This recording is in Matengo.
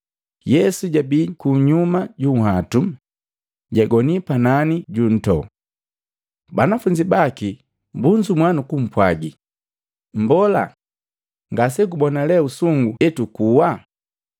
Yesu jabii kunyuma junhwatu, jagoni panani ju ntoo. Banafunzi baki bunzumua nukumpwagi, “Mbola, ngasegubona lee usungu etukuwa!”